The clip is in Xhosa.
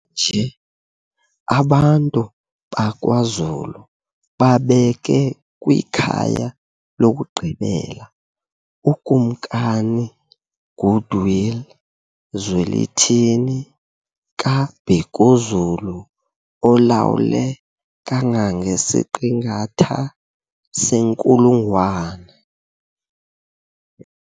Kutsha nje abantu bakwaZulu babeke kwikhaya lokugqibela uKumkani uGoodwill Zwelithini kaBhekuzulu olawule kangangesiqingatha senkulungwane.